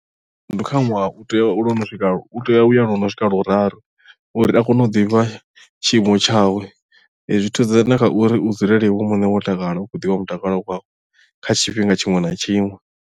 ndi kha ṅwaha u tea tea uya lwo no swika luraru uri a kone u ḓivha tshiimo tshawe zwi thusa na kha uri u dzulele iwe muṋe wo takala u khou ḓivha mutakalo wau kha tshifhinga tshiṅwe na tshiṅwe.